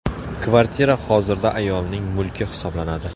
Kvartira hozirda ayolning mulki hisoblanadi.